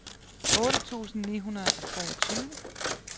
otte tusind ni hundrede og treogtyve